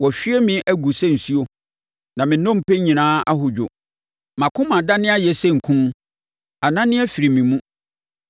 Wɔahwie me agu sɛ nsuo, na me nnompe nyinaa ahodwo. Mʼakoma adane ayɛ sɛ nku; anane afiri me mu.